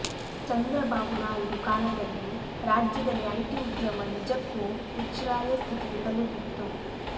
ಚಂದ್ರಬಾಬು ನಾಯ್ಡು ಕಾಲದಲ್ಲಿ ರಾಜ್ಯದಲ್ಲಿ ಐಟಿ ಉದ್ಯಮ ನಿಜಕ್ಕೂ ಉಚ್ಛ್ರಾಯ ಸ್ಥಿತಿಗೆ ತಲುಪಿತ್ತು